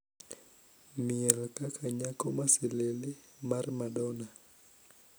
Miel kaka nyako masilili mar madonna